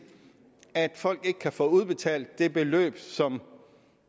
at folk ikke kan få udbetalt det beløb som